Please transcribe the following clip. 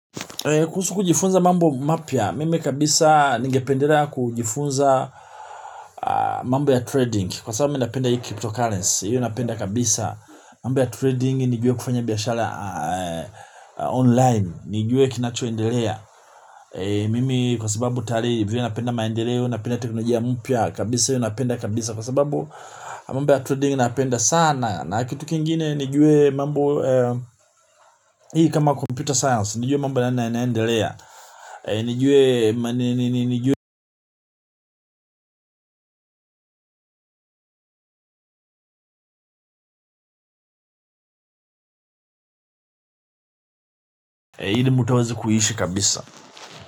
Kuhusu kujifunza mambo mapya, mimi kabisa ningependelea kujifunza mambo ya trading. Kwa sababu mi napenda hii cryptocurrency, hiyo napenda kabisa. Mambo ya trading nijue kufanya biyashara online, nijue kinacho endelea. Mimi kwa sababu tayali vile napenda maendeleo, napenda teknolojia mpya kabisa hiyo napenda kabisa. Kwa sababu mambo ya trading napenda sana. Na kitu kingine nijue. Mambo. Hii kama computer science nijue mambo nana inaendelea. Nijue. Hili mtu awaze kuhishi kabisa.